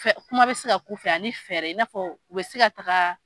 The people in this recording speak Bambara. Kuma bɛ se ka k'u fɛ ani fɛɛrɛ i n'a fɔ u bɛ se ka taga.